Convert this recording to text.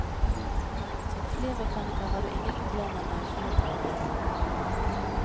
Som flymekaniker har du ingen problemer med å få nytt arbeid.